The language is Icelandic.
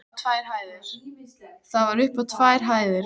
Það var upp á tvær hæðir.